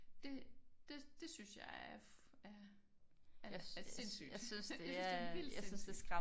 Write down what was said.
Det det det synes jeg er er er er sindssygt jeg synes det er vildt sindssygt